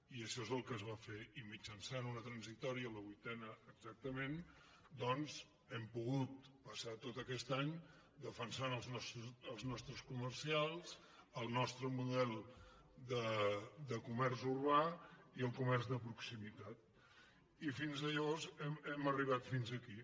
i això és el que es va fer i mitjançant una transitòria la vuitena exactament doncs hem pogut passar tot aquest any defensant els nostres comerciants el nostre model de comerç urbà i el comerç de proximitat i hem arribat fins aquí